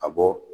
A bɔ